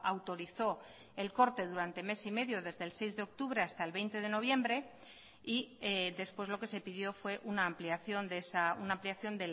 autorizó el corte durante mes y medio desde el seis de octubre hasta el veinte de noviembre y después lo que se pidió fue una ampliación de esa una ampliación